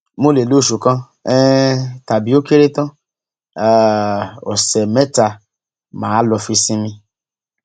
mo lè lo oṣù kan um tàbí ó kéré tán um ọsẹ mẹta mà á lọọ fi sinmi